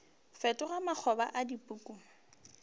fetoga makgoba a dipuku mo